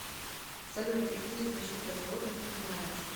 салют какие защита животных ты знаешь